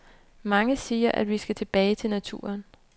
Mange siger, at vi skal tilbage til naturen.